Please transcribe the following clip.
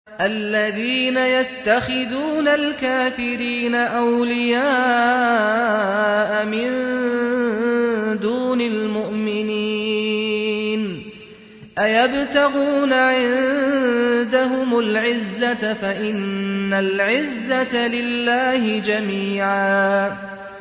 الَّذِينَ يَتَّخِذُونَ الْكَافِرِينَ أَوْلِيَاءَ مِن دُونِ الْمُؤْمِنِينَ ۚ أَيَبْتَغُونَ عِندَهُمُ الْعِزَّةَ فَإِنَّ الْعِزَّةَ لِلَّهِ جَمِيعًا